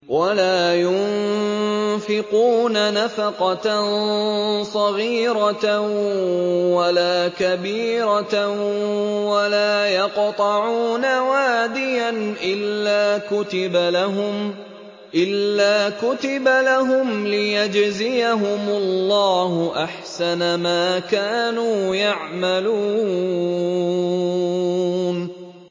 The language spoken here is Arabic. وَلَا يُنفِقُونَ نَفَقَةً صَغِيرَةً وَلَا كَبِيرَةً وَلَا يَقْطَعُونَ وَادِيًا إِلَّا كُتِبَ لَهُمْ لِيَجْزِيَهُمُ اللَّهُ أَحْسَنَ مَا كَانُوا يَعْمَلُونَ